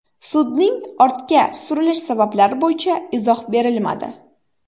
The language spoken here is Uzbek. Sudning ortga surilish sabablari bo‘yicha izoh berilmadi.